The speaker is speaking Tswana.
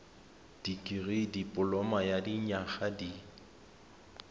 dikirii dipoloma ya dinyaga di